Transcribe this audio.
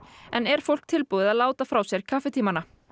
en er fólk tilbúið að láta frá sér kaffitímana